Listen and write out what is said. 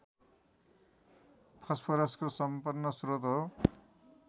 फस्फोरसको सम्पन्न स्रोत हो